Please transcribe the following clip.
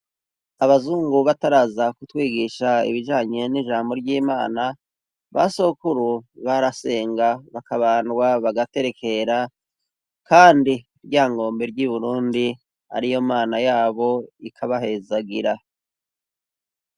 Abazungu bataraza kutwigisha ibijanye n'ijambo ry'imana basokuru barasenga bakabandwa bagaterekera kandi ryangombe ry'iburundi ariyo mana yabo ikabahezagira.